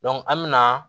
an mina